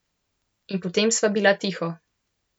In potem sva bila tiho.